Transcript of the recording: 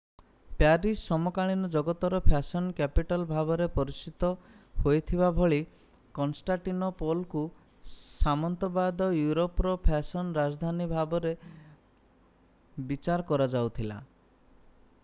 Paris ସମକାଳୀନ ଜଗତର fashion capital ଭାବରେ ପରିଚିତ ହୋଇଥିବା ଭଳି କନଷ୍ଟାଣ୍ଟିନୋପଲ୍‌କୁ ସାମନ୍ତବାଦ ୟୁରୋପର ଫ୍ୟାଶନ୍ ରାଜଧାନୀ ଭାବେ ବିଚାର କରାଯାଉଥିଲା।